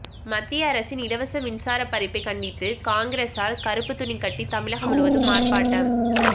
மத்திய அரசின் இலவச மின்சார பறிப்பை கண்டித்து காங்கிரசார் கருப்பு துணி கட்டி தமிழகம் முழுவதும் ஆர்ப்பாட்டம்